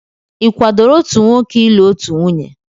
Ị kwadoro otu nwoke ịlụ otu nwunye?